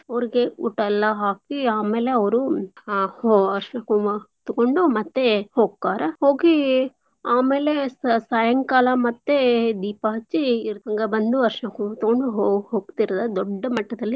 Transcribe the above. ಅವ್ರ್ಗೆ ಊಟಯೆಲ್ಲಾ ಹಾಕೀ ಆಮೇಲೆ ಅವ್ರೂ ಅರ್ಷ್ಣ ಕುಂಕ್ಮಾ ತಗೋಂಡು ಮತ್ತೇ ಅವ್ರು ಹೋಕ್ಕರ ಹೋಗೀ ಆಮೇಲೆ ಸ~ ಸಾಯಂಕಾಲ ಮತ್ತೇ ದೀಪ ಹಚ್ಚಿ ಇವ್ರ್ ಹಂಗ ಬಂದು ಅರ್ಷ್ಣ ಕುಂಕ್ಮಾ ತಗೋಂಡು ಹೋಗ್~ ಹೋಗ್ತೀರದ ದೊಡ್ಡ ಮಟ್ಟದಲ್ಲಿ.